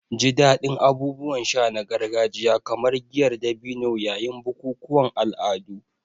Ji daɗin abubuwan sha na gargajiya kamar giyar dabino yayin bukukuwan al'adu.